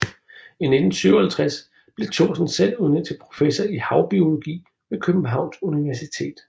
I 1957 blev Thorson selv udnævnt til professor i havbiologi ved Københavns Universitet